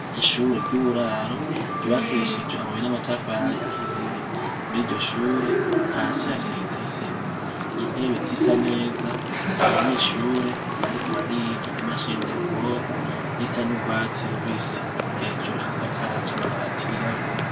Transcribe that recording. Ishure ryuburaro ryubakishijwe amabuye n'amatafari ahiye muri iryo shure hasi hasize isima intebe zisa neza abanyeshure bariko bariga imashini nyabwonko Isa n’urwatsi rubisi hejuru hasakaje amabati yirabura.